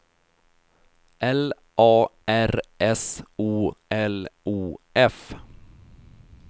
L A R S O L O F